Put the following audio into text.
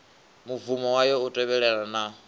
mubvumo wayo u tevhelelana na